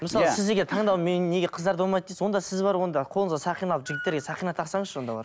мысалы сіз деген таңдау мен неге қыздарда болмайды дейсіз онда сіз барып онда қолыңызға сақина алып жігіттерге сақина тақсаңызшы онда барып